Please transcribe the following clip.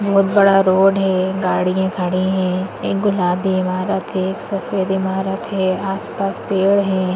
बहुत बड़ा रोड है गाड़ियां खड़ी है एक गुलाबी इमारत है एक सफेद इमारत है आसपास पेड़ है।